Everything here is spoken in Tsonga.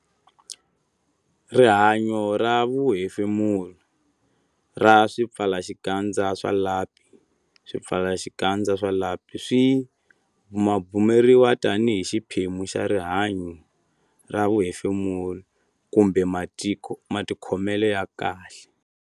Rihanyo ra vuhefemuri ra swipfalaxikandza swa lapi Swipfalaxikandza swa lapi swi bumabumeriwa tanihi xiphemu xa rihanyo ra vuhefemuri kumbe matikhomelo ya kahle.